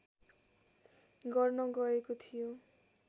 गर्न गएको थियो